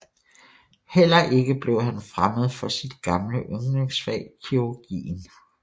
Heller ikke blev han fremmed for sit gamle yndlingsfag kirurgien